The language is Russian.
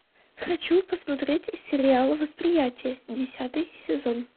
хочу посмотреть сериал восприятие десятый сезон